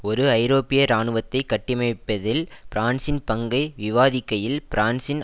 ஒரு ஐரோப்பிய இராணுவத்தை கட்டிமைப்பதில் பிரான்சின் பங்கை விவாதிக்கையில் பிரான்சின்